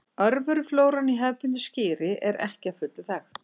Örveruflóran í hefðbundnu skyri er ekki að fullu þekkt.